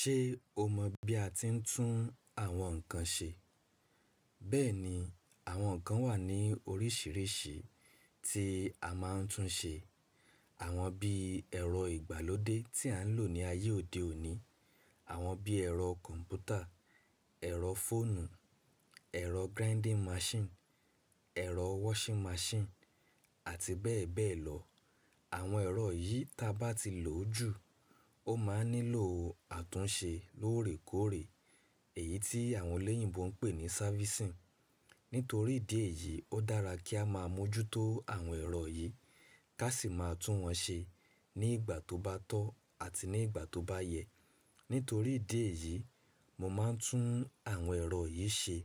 Ṣé o mọ̀ bí a ti ń tún àwọn nǹkan ṣe? Bẹ́ẹ̀ ni, àwọn nǹkan wà ní oríṣiríṣi tí a máa ń tún ṣe. Àwọn bí ẹ̀rọ ìgbàlódé tí à ń lò ní ayé òde òní, àwọn bí ẹ̀rọ kọ̀m̀pútà, ẹ̀rọ fóònù, ẹ̀rọ grinding machine, ẹ̀rọ washing machine àti bẹ́ẹ̀ bẹ́ẹ̀ lọ. Àwọn ẹ̀rọ yìí tí a bá ti lò jù, ó máa ń nílò àtúnṣe lóòrèkóòrè èyí tí àwọn elẹ́yìnbo ń pè ní servicing. Nítorí ìdí èyí, ó dára kí a máa mójútó àwọn ẹ̀rọ yìí, ká sì máa tún wọn ṣe ní ìgbà tó bá tọ́ àti ní ìgbà tó bá yẹ. Nítorí ìdí èyí, mo máa ń tún àwọn ẹ̀rọ yìí ṣe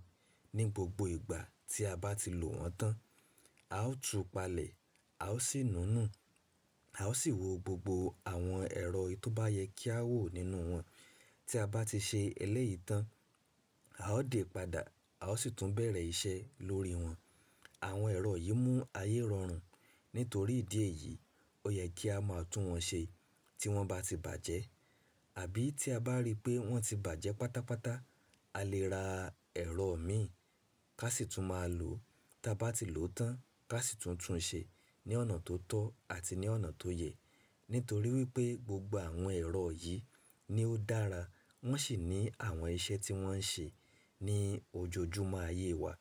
ní gbogbo ìgbà tí a bá ti lò wọ́n tán. A ó tú palẹ̀, a ó sì nùnú, a ó sì wo gbogbo àwọn ẹ̀rọ tí ó bá yẹ kí a wò nínú wọn. Tí a bá ti ṣe eléyìí tán, a ó dè padà, a ó sì tún bẹ̀rẹ̀ iṣẹ́ lórí wọn. Àwọn ẹ̀rọ yìí mú ayé rọrùn. Nítorí ìdí èyí, ó yẹ kí a máa tún wọn ṣe tí wọ́n bá ti bàjẹ́. Àbí tí a bá rí pé wọ́n ti bàjẹ́ pátápátá, a lè ra ẹ̀rọ mìíràn ká sì tún máa lò ó. Tí a bá ti lò ó tán ká sì tún tún un ṣe ní ọ̀nà tó tọ́ àti ní ọ̀nà tó yẹ. Nítorí wípé gbogbo àwọn ẹ̀rọ yìí ni ó dára, wọ́n sì ní àwọn iṣẹ́ tí wọ́n ń ṣe ní ojoojúmọ́ ayé wa.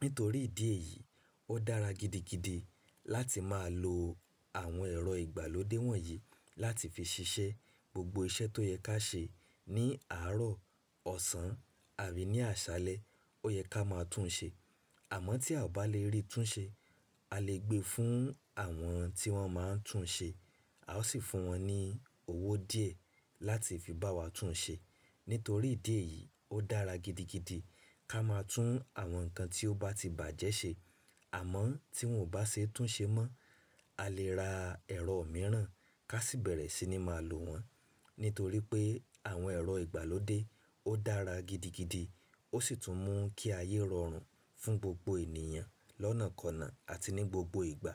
Nítorí ìdí èyí, ó dára gidigidi láti máa lo àwọn ẹ̀rọ ìgbàlódé wọ̀nyí láti fi ṣiṣẹ́ gbogbo iṣẹ́ tó yẹ ká ṣe ní àárọ̀, ọ̀sán àbí ní àṣálẹ́, ó yẹ ká máa tún ṣe. Àmọ́ tí a ò bá lè rí tún ṣe, a lè gbé fún àwọn tí wọ́n máa ń tún ṣe, a ó sì fún wọn ní owó díẹ̀ láti fi bá wa tún ṣe. Nítorí ìdí èyí, ó dára gidigidi ká máa tún àwọn nǹkan tí ó bá ti bàjẹ́ ṣe. Àmọ́ tí wọn ò bá ṣe é tún ṣe mọ́, a lè ra ẹ̀rọ mìíràn ká sì bẹ̀rẹ̀ sí ní máa lò wọ́n. Nítorí pé àwọn ẹ̀rọ ìgbàlódé ó dára gidigidi, ó sì tún mú kí ayé rọrùn fún gbogbo ènìyàn lọ́nàkọ̀nà àti ní gbogbo ìgbà.